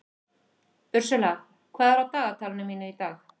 Ursula, hvað er á dagatalinu mínu í dag?